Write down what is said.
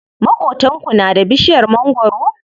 Maƙotanku na da bishiyar mangwaro?